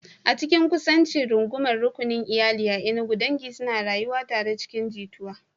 A cikin kusancin rungumar rukunin iyali a Enugu, dangi suna rayuwa tare cikin jituwa.